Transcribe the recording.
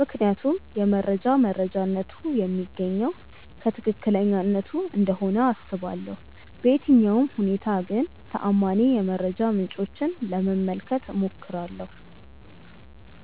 ምክንያቱም የመረጃ መረጃነቱ የሚገኘው ከትክክለኛነቱ እንደሆነ አስባለሁ። በየትኛውም ሁኔታ ግን ተአማኒ የመረጃ ምንጮችን ለመመልከት እሞክራለሁ።